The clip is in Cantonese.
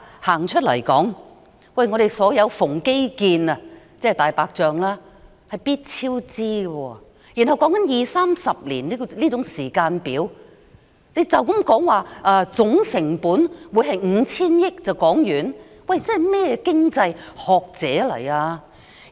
香港所有基建——即"大白象"工程——必定超支，而這個計劃的時間表涉及二三十年，他們卻武斷地說總成本是 5,000 億元，算甚麼經濟學者？